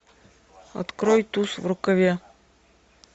открой туз в рукаве